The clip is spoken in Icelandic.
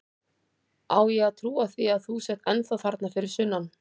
Á ég að trúa því að þú sért ennþá þarna fyrir sunnan?